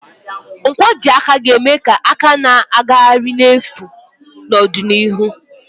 Nkwojiaka ga-eme ka aka na-agagharị n'efu n'ọdịnihu.